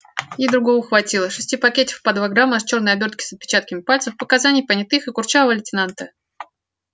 ей другого хватило шести пакетиков по два грамма с чёрной обёртки с отпечатками пальцев показаний понятых и курчавого лейтенанта